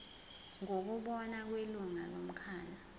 ngokubona kwelungu lomkhandlu